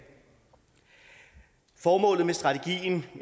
formålet med strategien